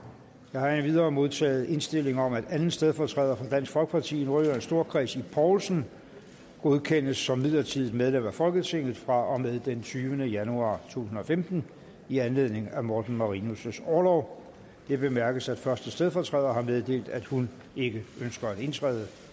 jeg har endvidere modtaget indstilling om at anden stedfortræder for dansk folkeparti i nordjyllands storkreds ib poulsen godkendes som midlertidigt medlem af folketinget fra og med den tyvende januar to tusind og femten i anledning af morten marinus orlov det bemærkes at første stedfortræder har meddelt at hun ikke ønsker at indtræde